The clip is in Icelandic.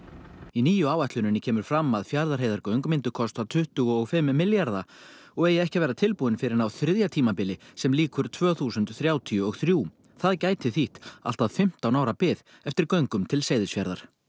í nýju áætluninni kemur fram að Fjarðarheiðargöng myndu kosta tuttugu og fimm milljarða og eigi ekki að vera tilbúin fyrr en á þriðja tímabili sem lýkur tvö þúsund þrjátíu og þrjú það gæti þýtt allt að fimmtán ára bið eftir göngum til Seyðisfjarðar